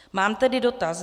Mám tedy dotaz.